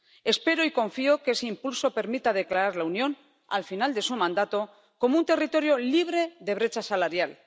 Espero y confío en que ese impulso permita declarar a la Unión, al final de su mandato, como un territorio libre de brecha salarial.